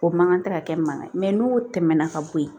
O man kan tɛ ka kɛ mankan ye mɛ n'o tɛmɛna ka bo yen